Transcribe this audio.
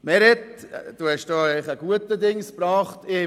Meret Schindler, Sie haben etwas Gutes gesagt.